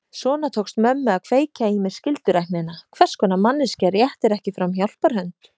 Svona tókst mömmu að kveikja í mér skylduræknina: Hvers konar manneskja réttir ekki fram hjálparhönd?